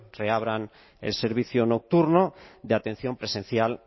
reabran el servicio nocturno de atención presencial